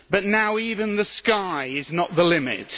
Now even the sky is not the limit.